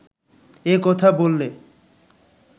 এ কথা বললে